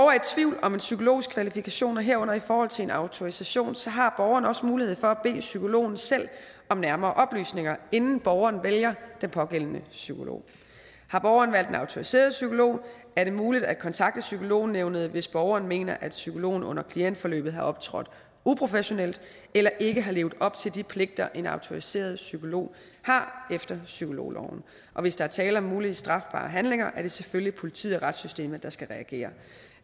er i tvivl om en psykologs kvalifikationer herunder i forhold til en autorisation så har borgeren også mulighed for at bede psykologen selv om nærmere oplysninger inden borgeren vælger den pågældende psykolog har borgeren valgt en autoriseret psykolog er det muligt at kontakte psykolognævnet hvis borgeren mener at psykologen under klientforløbet har optrådt uprofessionelt eller ikke har levet op til de pligter en autoriseret psykolog har efter psykologloven og hvis der er tale om mulige strafbare handlinger er det selvfølgelig politiet og retssystemet der skal reagere